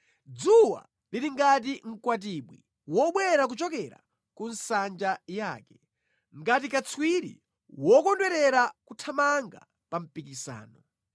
Dzuwa lili ngati mkwatibwi wobwera kuchokera ku nsanja yake, ngati katswiri wokondwerera kuthamanga pa mpikisano.